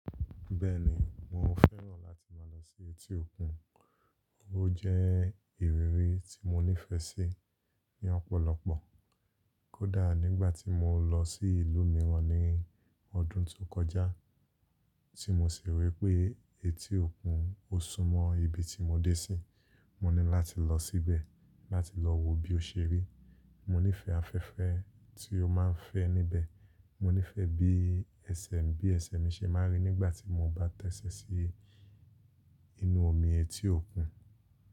Bẹ́ẹ̀ni, mo fẹ́ràn láti máa lọ sí etí òkun. Ó jẹ́ ìrírí tí mo nífẹ̀ẹ́ sí ní ọ̀pọ̀lọpọ̀. Kódà nígbà tí mo lọ sí ìlú mìíràn ní ọdún tó kọjá, tí mo sì rí pé etí òkun ó súmọ́ ibi tí mo dé sí, mo ní láti lọ síbẹ̀ láti lọ wo bí ó ṣe rí. Mo nífẹ̀ẹ́ afẹ́fẹ́ tí ó máa ń fẹ́ níbẹ̀. Mo nífẹ̀ẹ́ bí ẹsẹ̀, bí ẹsẹ̀ mi ṣe máa rí nígbà tí mo bá tẹ́ṣẹ́ sí inú omi etí òkun.